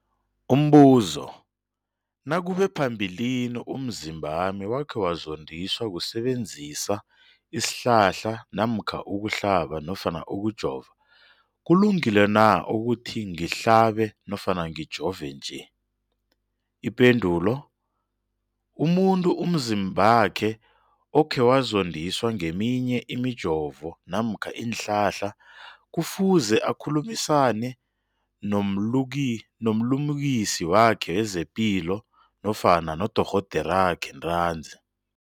Umbuzo, nakube phambilini umzimbami wakhe wazondiswa kusebenzisa isihlahla namkha ukuhlaba nofana ukujova, kulungile na ukuthi ngihlabe nofana ngijove nje? Ipendulo, umuntu umzimbakhe okhe wazondiswa ngeminye imijovo namkha iinhlahla kufuze akhulumisane nomlimukisi wakhe wezepilo nofana nodorhoderakhe ntanzi.